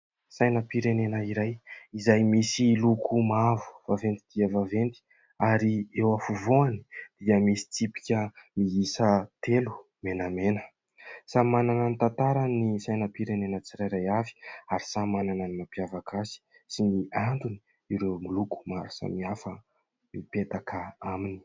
Sainam-pirenena iray izay misy loko mavo vaventy dia vaventy ary eo afovoany dia misy tsipika miisa telo menamena. Samy manana ny tantarany ny sainam-pirenena tsirairay avy ary samy manana ny mampiavaka azy sy ny antony ireo loko maro samihafa mipetaka aminy.